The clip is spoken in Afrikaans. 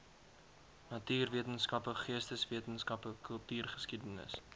natuurwetenskappe geesteswetenskappe kultuurgeskiedenis